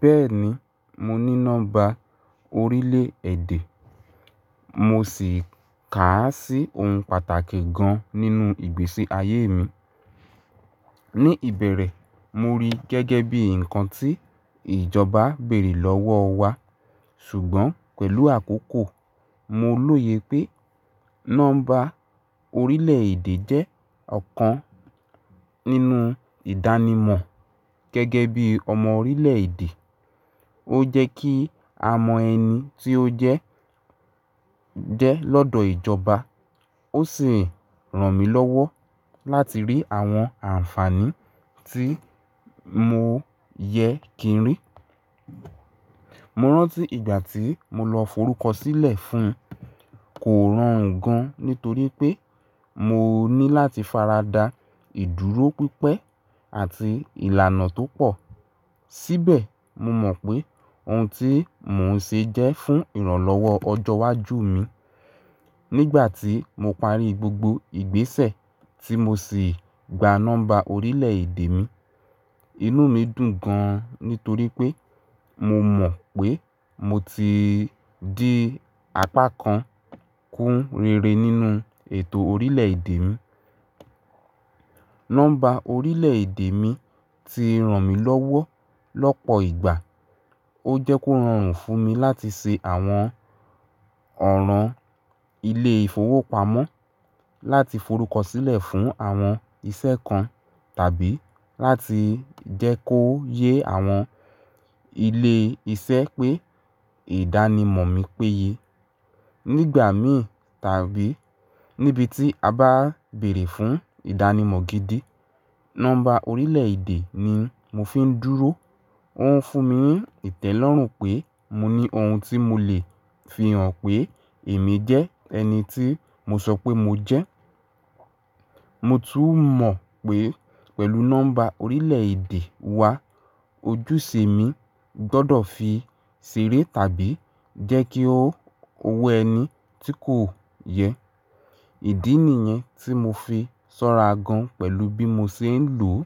Bẹ́ẹ̀ni, mo ní nọ́mbà orílẹ̀-èdè, mo sì kà á sí ohun pàtàkì gan nínú ìgbésí ayé mi. Ní ìbẹ̀rẹ̀, mo rí i gẹ́gẹ́ bí ǹkan tí ìjọba béèrè lọ́wọ́ wa, ṣùgbọ́n pẹ̀lú àkókò, mo lóye pé nọ́mbà orílẹ̀-èdè jẹ́ ọ̀kan nínú ìdánimọ̀ gẹ́gẹ́ bí ọmọ orílẹ̀-èdè. Ó jẹ́ kí a mọ ẹni tí ó jẹ́ jẹ́ lọ́dọ̀ ìjọba, ó sì ràn mí lọ́wọ́ láti rí àwọn ànfàní tí mo yẹ kí n rí. Mo rántí ìgbà tí mo lọ forúkọ sílẹ̀ fún kò rọrùn gan nítorí pé mo ní láti faradà ìdúró pípẹ́ àti ìlànà tó pọ̀. Síbẹ̀, mo mọ̀ pé ohun tí mò ń ṣe jẹ́ fún ìrànlọ́wọ́ ọjọ́ iwájú mi. Nígbà tí mo parí gbogbo ìgbésẹ̀ tí mo sì gba nọ́mbà orílẹ̀-èdè mi, inú mi dùn gan nítorí pé mo mọ̀ pé mo ti di apá kan kún rere nínú ètò orílẹ̀-èdè mi. Nọ́mbà orílẹ̀-èdè mi ti ràn mí lọ́wọ́ lọ́pọ̀ ìgbà. Ó jẹ́ kó rọrùn fún mi láti ṣe àwọn ọ̀ràn ilé-ìfowópamọ́, láti forúkọ sílẹ̀ fún àwọn iṣẹ́ kan, tàbí láti jẹ́ kó yé àwọn ilé iṣẹ́ pé ìdánimọ̀ mi péye. Nígbà mìíràn tàbí níbi tí a bá béèrè fún ìdánimọ̀ gidi, nọ́mbà orílẹ̀-èdè ni mo fi ń dúró. Ó ń fún mi ní ìtẹ́lọ́rùn pé mo ní ohun tí mo lè fi hàn pé èmi jẹ́ ẹni tí mo sọ pé mo jẹ́. Mo tún mọ̀ pé pẹ̀lú nọ́mbà orílẹ̀-èdè wa, ojúṣe mi gbọ́dọ̀ fi ṣeré tàbí jẹ́ kí ó wo ẹni tí kò yẹ. Ìdí nìyẹn tí mo fi sọ́ra gan pẹ̀lú bí mo ṣe ń lò ó.